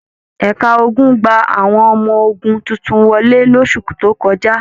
Ẹ̀ka ogun gba àwọn ọmọ ogun tuntun wọlé losu tó kọjá.